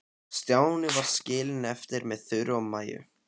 Stjáni var skilinn eftir með Þuru og Maju.